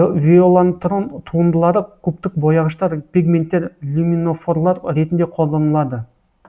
виолантрон туындылары кубтық бояғыштар пигменттер люминофорлар ретінде колданылады